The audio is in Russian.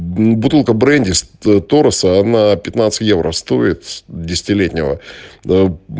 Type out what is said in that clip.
бутылка бренди тореса одна пятнадцать евро стоит десятилетнего